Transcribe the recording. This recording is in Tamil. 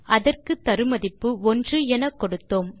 அதற்கு தரு மதிப்பு 1 என கொடுத்தோம்